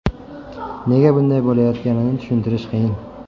Nega bunday bo‘layotganini tushuntirish qiyin.